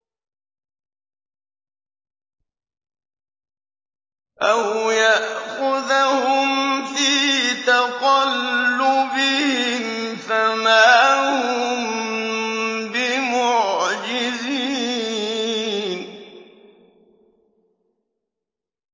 أَوْ يَأْخُذَهُمْ فِي تَقَلُّبِهِمْ فَمَا هُم بِمُعْجِزِينَ